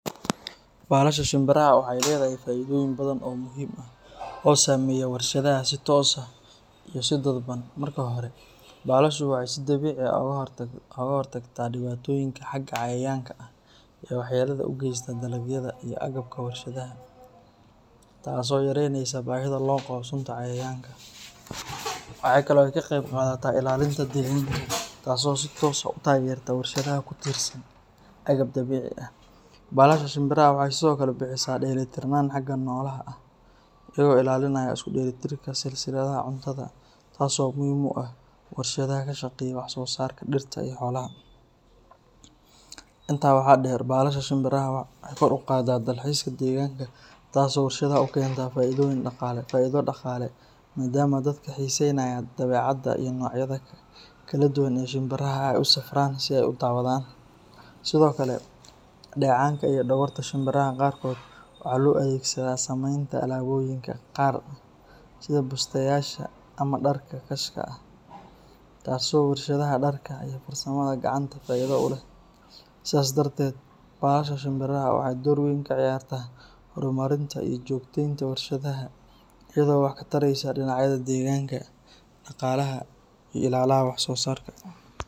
Balaasha shimbiraha waxay leedahay faa’iidooyin badan oo muhiim ah oo saameeya warshadaha si toos ah iyo si dadban. Marka hore, balaashu waxay si dabiici ah uga hortagtaa dhibaatooyinka xagga cayayaanka ah ee waxyeellada u geysta dalagyada iyo agabka warshadaha, taasoo yareyneysa baahida loo qabo sunta cayayaanka. Waxaa kale oo ay ka qayb qaadataa ilaalinta deegaanka taasoo si toos ah u taageerta warshadaha ku tiirsan agab dabiici ah. Balaasha shimbiraha waxay sidoo kale bixisaa dheelitirnaan xagga noolaha ah, iyagoo ilaalinaya isku dheelitirka silsiladda cuntada, taas oo muhiim u ah warshadaha ka shaqeeya wax-soo-saarka dhirta iyo xoolaha. Intaa waxaa dheer, balaasha shimbiraha waxay kor u qaadaa dalxiiska deegaanka taasoo warshadaha u keenta faa’iido dhaqaale maadaama dadka xiisaynaya dabeecadda iyo noocyada kala duwan ee shimbiraha ay u safraan si ay u daawadaan. Sidoo kale, dheecaanka iyo dhogorta shimbiraha qaarkood waxaa loo adeegsadaa samaynta alaabooyinka qaar sida bustayaasha ama dharka khaaska ah, taas oo warshadaha dharka iyo farsamada gacanta faa’iido u leh. Sidaas darteed, balaasha shimbiraha waxay door weyn ka ciyaartaa horumarinta iyo joogtaynta warshadaha iyadoo wax ka taraysa dhinacyada deegaanka, dhaqaalaha, iyo ilaha wax-soo-saarka.